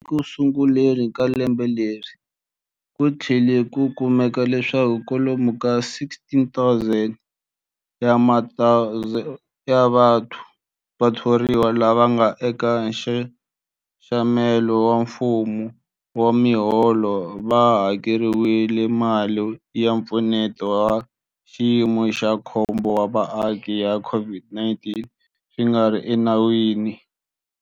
Ekusunguleni ka lembe leri, ku tlhele ku kumeka leswaku kwalomu ka 16,000 wa vathoriwa lava nga eka nxaxamelo wa mfumo wa miholo va hakeriwile mali ya Mpfuneto wa Xiyimo xa Khombo wa Vaaki ya COVID-19 swi nga ri enawini.